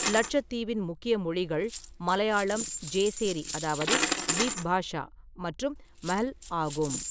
லட்சத்தீவின் முக்கிய மொழிகள் மலையாளம், ஜேசேரி அதாவது த்வீப் பாஷா மற்றும் மஹ்ல் ஆகும்.